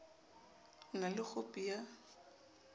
o na le khopi ya